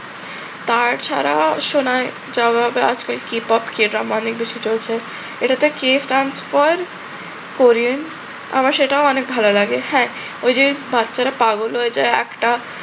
তার ছাড়া শোনায় জবাবে আজকে কিপপ কি, এটা মানে বেশি চলছে, এটাতে key transfer করে। আমার সেটাও অনেক ভাল লাগে। হ্যাঁ ওই যে বাচ্চারা পাগল হয়ে যায় একটা